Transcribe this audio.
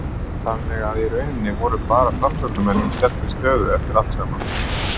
Þannig að í rauninni voru bara Framsóknarmenn í sterkri stöðu eftir allt saman?